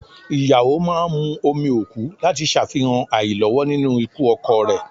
Ìyàwó máa ń mu omi òkú láti ṣàfihàn àìlọ́wọ́ nínú ikú ọkọ rẹ